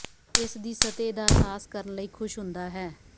ਇਸ ਦੀ ਸਤਹ ਦਾ ਅਹਿਸਾਸ ਕਰਨ ਲਈ ਖੁਸ਼ ਹੁੰਦਾ ਹੈ